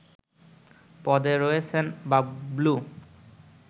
পদে রয়েছেন বাবলু